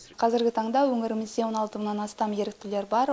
қазіргі таңда өңірімізде он алты мыңнан астам еріктілер бар